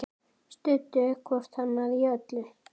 Studdu hvort annað í öllu.